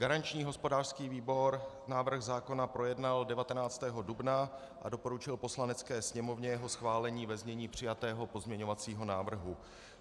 Garanční hospodářský výbor návrh zákona projednal 19. dubna a doporučil Poslanecké sněmovně jeho schválení ve znění přijatého pozměňovacího návrhu.